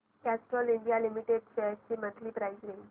Castrol India limited shares ची monthly price range